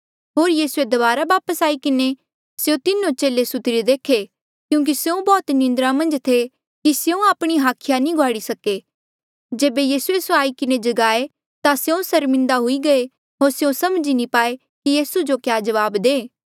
होर यीसूए दबारा वापस आई किन्हें स्यों तीनो चेले सुत्तिरे देखे क्यूंकि स्यों बौह्त निंद्रा मन्झ थे कि स्यों आपणी हाखिया नी घुआड़ी सके जेबे यीसूए स्यों आई किन्हें जगाए ता स्यों सर्मिन्दा हुई गये होर स्यों समझी नी पाए कि यीसू जो क्या जवाब दे